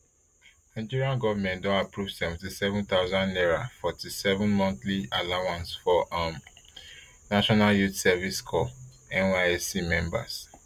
nigeria goment don approve seventy-seven thousand naira forty-seven monthly allowance for um national youth service corps nysc members